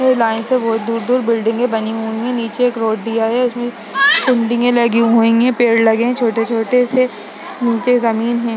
के लाइन से बहुत दूर-दूर बिल्डिंगे बनी हुई हैं नीचे एक एक रोड दिया है। उसमें लगी हुई है पेड़ लगे हुए है छोटे छोटे से नीचे जमीन है।